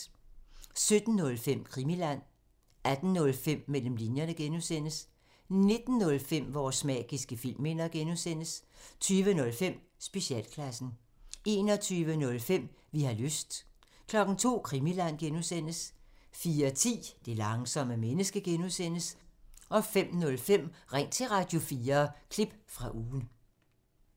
17:05: Krimiland 18:05: Mellem linjerne (G) 19:05: Vores magiske filmminder (G) 20:05: Specialklassen 21:05: Vi har lyst 02:00: Krimiland (G) 04:10: Det langsomme menneske (G) 05:05: Ring til Radio4 – Klip fra Ugen